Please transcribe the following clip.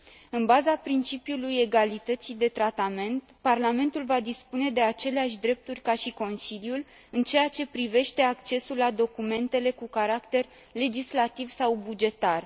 În baza principiului egalității de tratament, Parlamentul va dispune de aceleași drepturi ca și Consiliul în ceea ce privește accesul la documentele cu caracter legislativ sau bugetar.